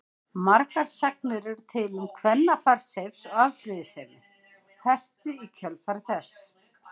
Margar sagnir eru til um kvennafar Seifs og afbrýðisemi Heru í kjölfar þess.